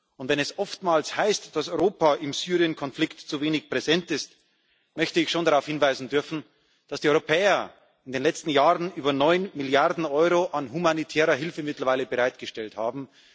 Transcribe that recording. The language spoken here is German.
Und wenn es oftmals heißt, dass Europa im Syrienkonflikt zu wenig präsent ist, möchte ich schon darauf hinweisen dürfen, dass die Europäer in den letzten Jahren mittlerweile über neun Milliarden Euro an humanitärer Hilfe bereitgestellt haben.